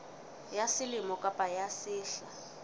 ya selemo kapa ya sehla